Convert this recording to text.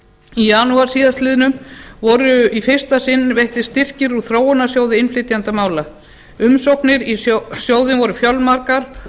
í janúar síðastliðnum voru í fyrsta sinn veittir styrkir úr þróunarsjóði innflytjendamála umsóknir í sjóðinn voru fjölmargar